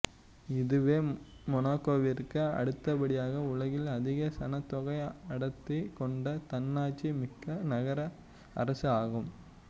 இதுவே மொனாக்கோவிற்கு அடுத்தபடியாக உலகில் அதிக சனத்தொகை அடர்த்தி கொண்ட தன்னாட்சி மிக்க நகரஅரசு ஆகும்